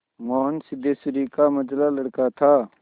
मोहन सिद्धेश्वरी का मंझला लड़का था